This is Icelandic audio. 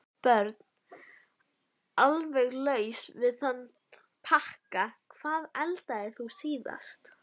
Börn: Alveg laus við þann pakka Hvað eldaðir þú síðast?